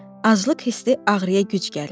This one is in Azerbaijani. Aclıq hissi ağrıya güc gəlirdi.